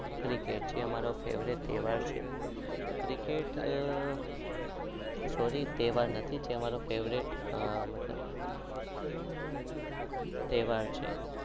કે છે અમારો ફેવરીટ તહેવાર છે એ મારો